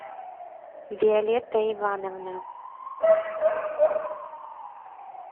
виолетта ивановна